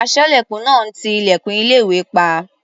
Aṣọ́lẹ̀kùn náà ń ti ilẹ̀kùn ilé-ìwé pa.